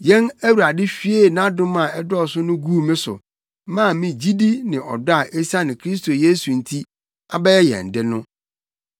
Yɛn Awurade hwiee nʼadom a ɛdɔɔso no guu me so maa me gyidi ne ɔdɔ a esiane Kristo Yesu nti abɛyɛ yɛn de no.